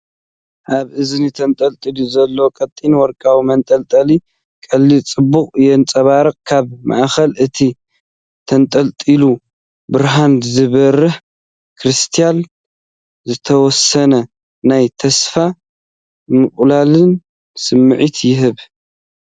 ኣብ እዝኒ ተንጠልጢሉ ዘሎ ቀጢን ወርቃዊ መንጠልጠሊ ቀሊል ጽባቐ የንጸባርቕ። ካብ ማእከል እቲ ተንጠልጣሊ ብርሃን ዝበርህ ክሪስታል ዝተወሰነ ናይ ተስፋን ምቕላልን ስምዒት ይህብ።